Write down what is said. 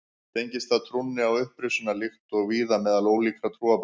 Tengist það trúnni á upprisuna líkt og víða meðal ólíkra trúarbragða.